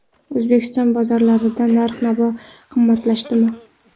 O‘zbekiston bozorlarida narx-navo qimmatlashdimi?.